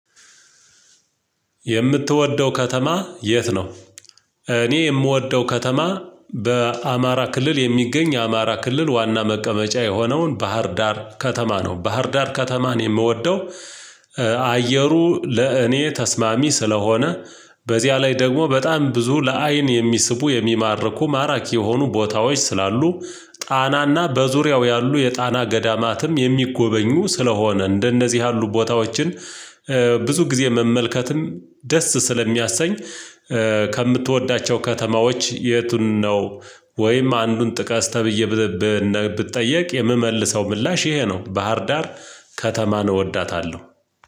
የምትወደው ከተማ የት ነው? እኔ የምወደው ከተማ በአማራ ክልል የሚገኝ አማራ ክልል ዋና መቀመጫ የሆነውን ባህር ዳር ከተማ ነው ባህር ዳር ከተማን የምወደው። አየሩ ለእኔ ተስማሚ ስለሆነ በዚያ ላይ ደግሞ በጣም ብዙ ለአይን የሚስቡ የሚማርኩ ማራኪ የሆኑ ቦታዎች ስላሉ ጣናና በዙሪያው ያሉ የጣና ገዳማትም የሚጎበኙ ስለሆነ እንደነዚህ ያሉ ቦታዎችን ብዙ ጊዜ መመልከትም ደስ ስለሚያሰኝ። ከምትወዳቸው ከተማዎች የቱን ነው? ወይም አንዱን ጥቀስ ተብዬ ብጠየቅ የምመልሰው ምላሽ ይሄ ነው ባህር ዳር። ከተማን እወዳታለሁ።